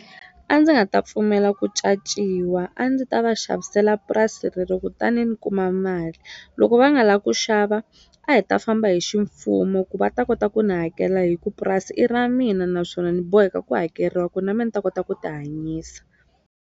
A ndzi nga ta pfumela ku caciwa a ndzi ta va xavisela purasi rero kutani ni kuma mali loko va nga la ku xava a hi ta famba hi ximfumo ku va ta kota ku ni hakela hi ku purasi i ra mina naswona ni boheka ku hakeriwa ku na me ni ta kota ku ti hanyisa.